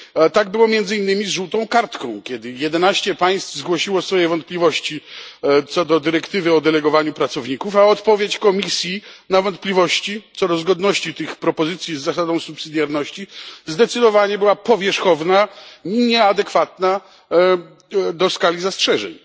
Tak było między innymi z żółtą kartką, kiedy jedenaście państw zgłosiło swoje wątpliwości co do dyrektywy o delegowaniu pracowników, a odpowiedź Komisji na wątpliwości co do zgodności tych propozycji z zasadą pomocniczości była zdecydowanie powierzchowna i nieadekwatna do skali zastrzeżeń.